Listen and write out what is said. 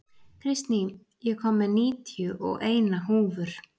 Kristný, ég kom með níutíu og eina húfur!